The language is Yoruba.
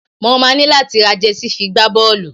Mo máa ní láti ra jẹsí fi gbá bọ́ọ́lù.